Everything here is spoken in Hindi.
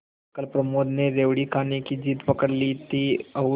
कल प्रमोद ने रेवड़ी खाने की जिद पकड ली थी और